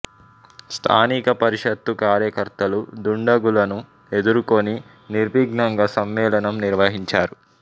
స్థానిక పరిషత్తు కార్యకర్తలు దుండగులను ఎదుర్కొని నిర్విఘ్నంగా సమ్మేళనం నిర్వహించారు